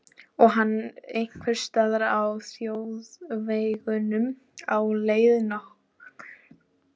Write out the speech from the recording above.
Og hann einhvers staðar á þjóðvegunum á leið norður.